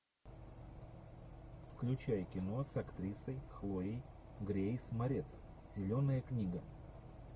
включай кино с актрисой хлоей грейс морец зеленая книга